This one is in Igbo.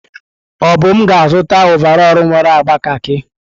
Obum ga-azụta ọvarọọr nwere agba kakị.